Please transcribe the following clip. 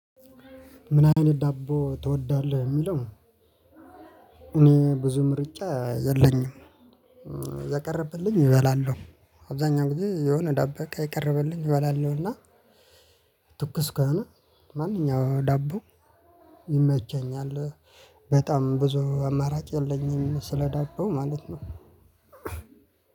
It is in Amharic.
ምን አይነት ዳቦ ትወዳለህ የሚለው? እኔ ብዙ ምርጫ የለኝም። የቀረበልኝ እበላለሁ አብዛኛው ጊዜ የሆነ ዳቦ የቀርበልኝ እበላለሁና። ትኩስ ከሆነ ማንኛውም ዳቦ ይመቸኛል። በጣም ብዙ አማራጭ የለኝም ስለዳቦው ማለት ነው።